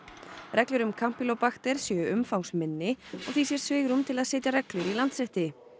reglur um kampýlóbakter séu umfangsminni og því sé svigrúm til að setja reglur í Landsrétti